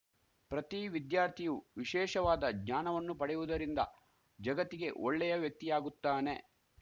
ಪ್ರತಿ ವಿದ್ಯಾರ್ಥಿಯು ವಿಶೇಷವಾದ ಜ್ಞಾನವನ್ನು ಪಡೆಯುವುದರಿಂದ ಜಗತ್ತಿಗೆ ಒಳ್ಳೆಯ ವ್ಯಕ್ತಿಯಾಗುತ್ತಾನೆ